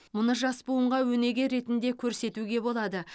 мұны жас буынға өнеге ретінде көрсетуге болады